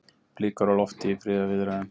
Blikur á lofti í friðarviðræðum